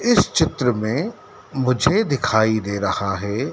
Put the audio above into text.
इस चित्र में मुझे दिखाई दे रहा है।